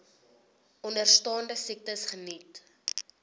onderstaande siektes geniet